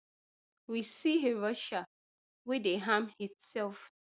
we see a russia wey dey arm itself